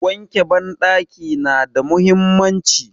Wanke banɗaki nada mahimmanci.